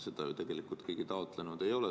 Seda ju tegelikult keegi taotlenud ei ole.